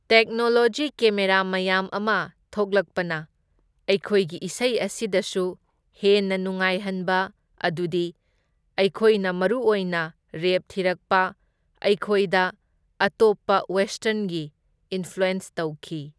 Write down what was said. Technology camera ꯃꯌꯥꯝ ꯑꯃ ꯊꯣꯛꯂꯛꯄꯅ ꯑꯩꯈꯣꯏꯒꯤ ꯏꯁꯩ ꯑꯁꯤꯗꯁꯨ ꯍꯦꯟꯅ ꯅꯨꯡꯉꯥꯏꯍꯟꯕ, ꯑꯗꯨꯗꯤ ꯑꯩꯈꯣꯏꯅ ꯃꯔꯨꯑꯣꯏꯅ ꯔꯦꯞ ꯊꯤꯔꯛꯄ, ꯑꯩꯈꯣꯏꯗ ꯑꯇꯣꯞꯄ ꯋꯦꯁꯇꯔꯟꯒꯤ ꯏꯟꯐ꯭ꯂꯨꯑꯦꯟꯁ ꯇꯧꯈꯤ꯫